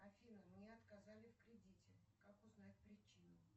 афина мне отказали в кредите как узнать причину